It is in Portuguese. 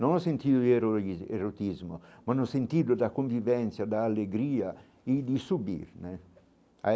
Não sentir o heroísmo o erotismo, mas no sentido da convivência, da alegria e de subir né aí.